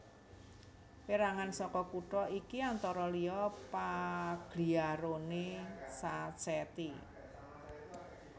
Pérangan saka kutha iki antara liya Pagliarone Sacchetti